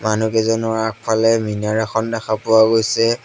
মানুহকেইজনৰ আগফালে মিনাৰ এখন দেখা পোৱা গৈছে।